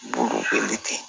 Bolokoli te